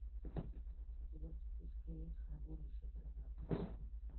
у тебя в списке есть хранилище тринадцать